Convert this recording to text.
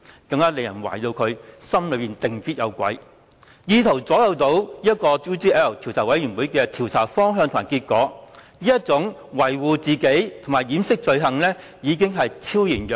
此舉更令人懷疑他一定是內心有鬼，意圖左右專責委員會的調查方向及結果，他維護自己及掩飾罪行的意圖可謂昭然若揭。